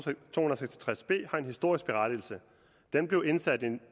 tres b har en historisk berettigelse den blev indsat i